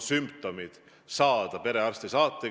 Nagu ma ütlesin, meie soov on tõsta see võimekus kuni 1000 testini.